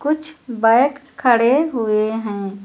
कुछ बैक खड़े हुए हैं।